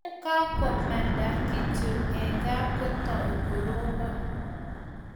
Ye kwa mande kityo eng kaa, kotoi korobon